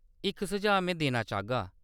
इक सुझाऽ में देना चाह्गा।